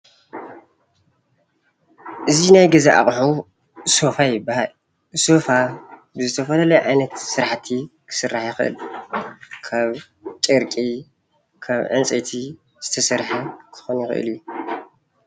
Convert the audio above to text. እዚ ናይ ገዛ ኣቁሑ ሶፋ ይባሃል፡፡ ሶፋ ብዝተፈላለየ ዓይነት ስራሕቲ ክስራሕ ይክእል፣ ካብ ጨርቂ፣ ካብ ዕንጨይቲ ዝተሰርሐ ክኮን ይክእል እዩ፡፡